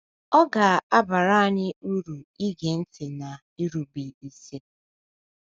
Ọ ga - abara anyị uru ige ntị na irube isi.